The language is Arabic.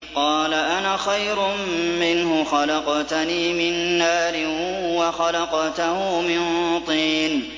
قَالَ أَنَا خَيْرٌ مِّنْهُ ۖ خَلَقْتَنِي مِن نَّارٍ وَخَلَقْتَهُ مِن طِينٍ